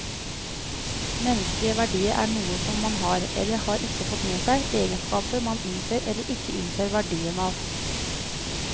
Menneskelige verdier er noe som man har, eller ikke har fått med seg, egenskaper man innser eller ikke innser verdien av.